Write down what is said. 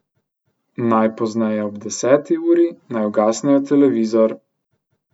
Najpozneje ob deseti uri naj ugasnejo televizor.